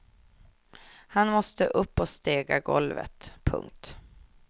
Han måste upp och stega golvet. punkt